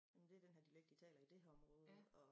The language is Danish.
Det den her dialekt de taler i det her område og